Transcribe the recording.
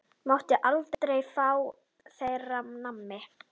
Máttu aldrei fá þér nammi?